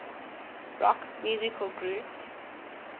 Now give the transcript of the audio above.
rock musical groups